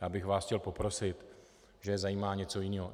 Já bych vás chtěl poprosit, že je zajímá něco jiného.